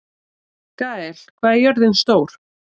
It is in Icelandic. Gael, hvað er jörðin stór?